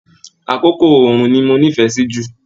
Àkókò oòrùn ní mò nífẹẹ sí jù.